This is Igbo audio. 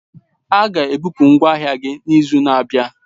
A ga-ebupu ngwa ahịa gị n'izu na-abịa.